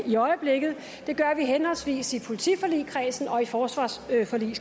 i øjeblikket og det gør vi henholdsvis i politiforligskredsen og i forsvarsforligskredsen